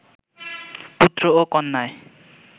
পুত্র ও কন্যায়